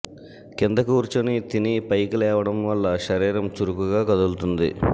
కింద కూర్చొని తిని పైకి లేవడం వల్ల శరీరం చురుకుగా కదులుతుంది